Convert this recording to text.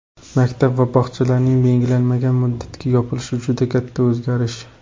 Maktab va bog‘chalarning belgilanmagan muddatga yopilishi juda katta o‘zgarish.